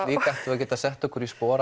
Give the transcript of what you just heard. að geta sett okkur í spor